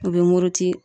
U bɛ muruti